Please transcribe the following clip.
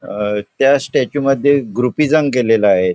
अं त्या स्टॅच्यू मध्ये ग्रुपिझम केलेलं आहे.